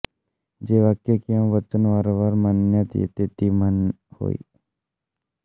जे वाक्य किवा वचन वारंवार म्हणण्यात येते ती म्हणहोय